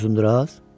Uzunduraz?